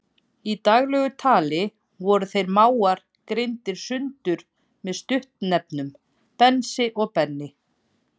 Í daglegu tali voru þeir mágar greindir sundur með stuttnefnunum Bensi og Benni.